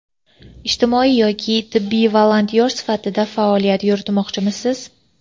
Ijtimoiy yoki tibbiy volontyor sifatida faoliyat yuritmoqchimisiz?.